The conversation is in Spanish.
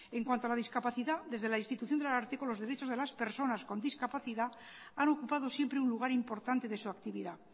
en cuanto a las discapacidad desde la institución del ararteko los derechos de las personas con discapacidad han ocupado siempre un lugar importante de su actividad